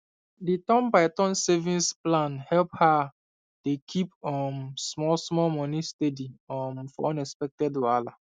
the turn by turn savings plan help her dey keep um small small money steady um for unexpected wahala